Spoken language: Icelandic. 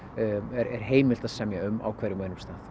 er heimilt að semja um á hverjum og einum stað